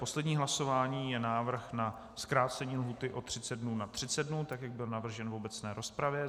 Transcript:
Poslední hlasování je návrh na zkrácení lhůty o 30 dnů na 30 dnů, tak jak byl navržen v obecné rozpravě.